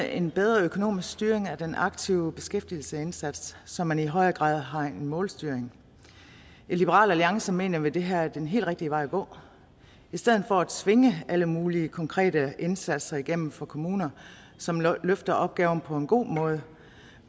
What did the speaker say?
en bedre økonomisk styring af den aktive beskæftigelsesindsats så man i højere grad har en målstyring i liberal alliance mener vi at det her er den helt rigtige vej at gå i stedet for at tvinge alle mulige konkrete indsatser igennem for kommuner som løfter opgaven på en god måde